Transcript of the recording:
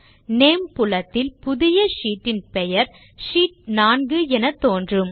name புலத்தில் புதிய sheet இன் பெயர் ஷீட் 4 என தோன்றும்